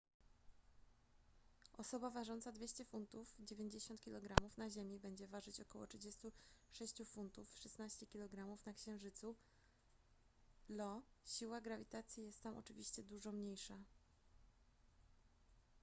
osoba ważąca 200 funtów 90 kg na ziemi będzie ważyć około 36 funtów 16 kg na księżycu io. siła grawitacji jest tam oczywiście dużo mniejsza